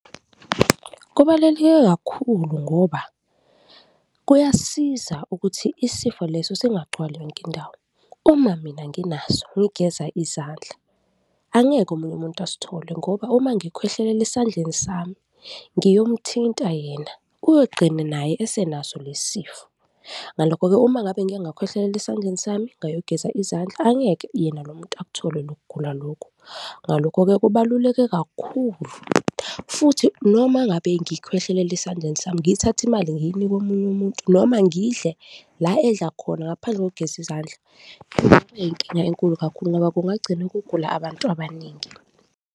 Kubaluleke kakhulu ngoba kuyasiza ukuthi isifo leso singagcwali yonke indawo. Uma mina nginaso ngigeza izandla, angeke omunye umuntu asithole ngoba uma ngikhwehlelela esandleni sami ngiyomuthinta yena, uyogcina naye esenaso lesi sifo. Ngalokho-ke, uma ngabe ngike ngakhwehlelela esandleni sami ngayogeza izandla, angeke yena lo muntu akuthole lokugula lokhu. Ngalokho-ke, kubaluleke kakhulu futhi noma ngabe ngikhwehlelela esandleni sami, ngithathe imali ngiyinike omunye umuntu noma ngidle la edla khona ngaphandle kokugeza izandla, kungaba nenkinga enkulu kakhulu ngoba kungagcine kugula abantu abaningi.